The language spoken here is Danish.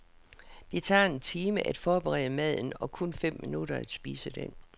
Det tager en time at forberede maden og kun fem minutter at spise den.